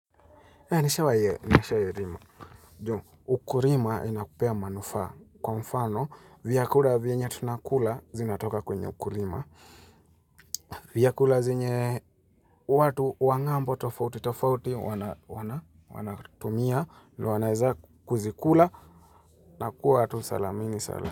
Nishawahi ye, nishawa ye rima ukulima inakupea manufaa Kwa mfano, vyakula vyenye tunakula zinatoka kwenye ukulima vyakula zinye watu wang'ambo tofauti, tofauti wanatumia, wanaweza kuzikula na kuwa tu salamini salama.